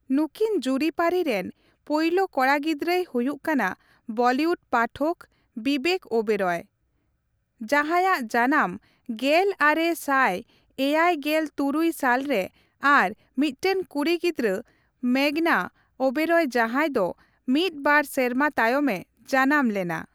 ᱱᱩᱠᱤᱱ ᱡᱩᱨᱤᱼᱯᱟᱹᱨᱤ ᱨᱮᱱ ᱯᱳᱭᱞᱳ ᱠᱚᱲᱟ ᱜᱤᱫᱽᱨᱟᱹᱭ ᱦᱩᱭᱩᱜ ᱠᱟᱱᱟ ᱵᱚᱞᱤᱣᱩᱰ ᱯᱟᱴᱷᱚᱠ, ᱵᱤᱵᱮᱠ ᱳᱣᱮᱵᱨᱚᱭ, ᱡᱟᱦᱟᱸᱭᱟᱜ ᱡᱟᱱᱟᱢ ᱜᱮᱞ ᱟᱨᱮ ᱥᱟᱭ ᱮᱭᱮᱭ ᱜᱮᱞ ᱛᱩᱨᱩᱭ ᱥᱟᱞ ᱨᱮ ᱟᱨ ᱢᱤᱫᱴᱟᱝ ᱠᱩᱲᱤ ᱜᱤᱫᱽᱨᱟᱹ ᱢᱮᱜᱽᱷᱱᱟ ᱳᱣᱮᱵᱨᱚᱭ ᱡᱟᱦᱟᱸᱭ ᱫᱚ ᱢᱤᱫ ᱵᱟᱨ ᱥᱮᱨᱢᱟ ᱛᱟᱭᱚᱢᱮ ᱡᱟᱱᱟᱢ ᱞᱮᱱᱟ ᱾